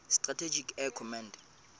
strategic air command